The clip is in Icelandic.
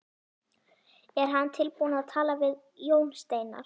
Er hann tilbúinn að tala við Jón Steinar?